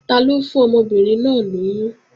Taló fún ọmọbìnrin náà lóyún?